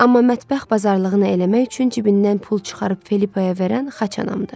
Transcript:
Amma mətbəx bazarlığını eləmək üçün cibindən pul çıxarıb Felipaya verən xaçanamdır.